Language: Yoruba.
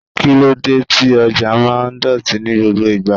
Kí lóde tí ọjà máa ń dọ̀tí ní gbogbo ìgbà.